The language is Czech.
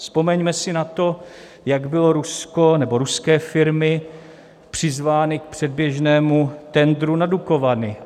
Vzpomeňme si na to, jak bylo Rusko nebo ruské firmy přizvány k předběžnému tendru na Dukovany.